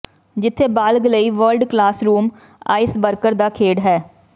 ਜਿੱਥੇ ਬਾਲਗ ਲਈ ਵਰਲਡ ਕਲਾਸਰੂਮ ਆਈਸ ਬਰਕਰ ਦਾ ਖੇਡ ਹੈ